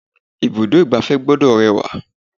Ibùdó igbàfẹ́ gbọ́dọ̀ rẹwà.